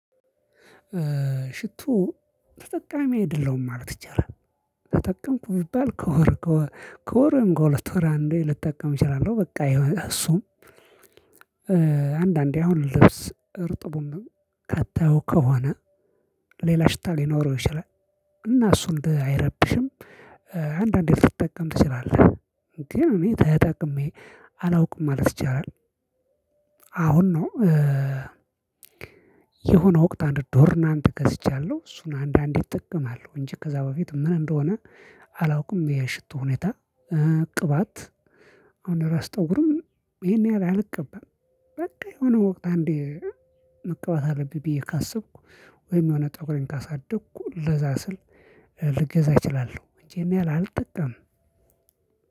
ሽቶ ተጠቃሚ አይደለሁም ማለት ይቻላል ተጠቀምኩ ቢባል ከወር ከወር ከወርም ከሁለት ወር እንዴ ልጠቀም እችላለሁ በቃ እሱም አንዳንዴ አሁን ልብስ እርጥቡን ከተው ከሆነ ሌላ ሽታ ሊኖረው ይችላል እና እሱን አይረብሽም አንዳንዴ ልትጠቀም ትችላለህ ግን እኔ ተጠቅሜ አላውቅም ማለት ይቻላል አሁን ነው የሆነ ወቅት አንድ ዶድራንት ገዝቻለሁ እሱን አንዳንዴ እጠቀማው እንጂ ከዛ በፊት ምን እንደሆነ አላውቅም የሽቶ ሁኔታ ቅባት አሁን ራስ ጠጉርም ይሄን ያህል አልቀባም በቃ የሆነ ወቅት አንዴ መቀባት አለብኝ ብዬ ካሰብኩ ወይም የሆነ ፀጉሬን ካሳደግኩ ለዛ ስል ልገዛ እችላለሁ እኔ አልጠቀምም።